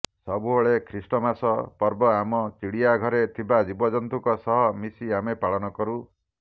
ସବୁବେଳେ ଖ୍ରୀଷ୍ଟମାସ ପର୍ବ ଆମ ଚିଡିଆଘରେ ଥିବା ଜୀବଜନ୍ତୁଙ୍କ ସହ ମିଶି ଆମେ ପାଳନ କରୁ